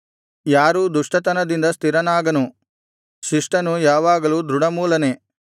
ಯಾರೂ ದುಷ್ಟತನದಿಂದ ಸ್ಥಿರನಾಗನು ಶಿಷ್ಟನು ಯಾವಾಗಲೂ ದೃಢಮೂಲನೇ